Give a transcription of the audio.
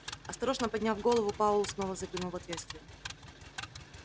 осторожно подняв голову пауэлл снова заглянул в отверстие